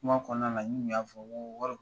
Kuma kɔnɔna n ŋi ya fɔ ko wari